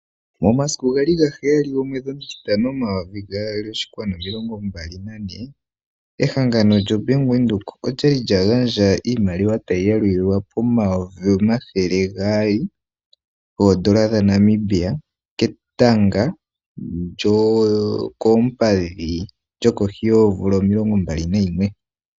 Momasiku geli ga heyali, momwedhi omutitano, omayovi gaali oshinkwanu nomilongombalinane, ehanganonlyo Bank Windhoek olya li lya gandja iimaliwa tayi yalulilwa pomayovi omathele gaali oondola dhaNamibia, ketango lyokoompadhi lyokohi yomvula omilongombali nayimwe.